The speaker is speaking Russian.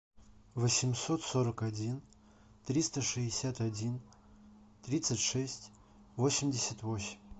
восемьсот сорок один триста шестьдесят один тридцать шесть восемьдесят восемь